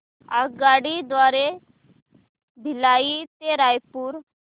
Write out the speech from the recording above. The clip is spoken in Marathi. आगगाडी द्वारे भिलाई ते रायपुर